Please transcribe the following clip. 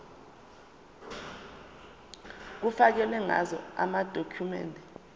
kufakelwe ngazo amadokhumende